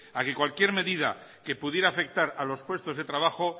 a que cualquier medida que pudiera afectar a los puestos de trabajo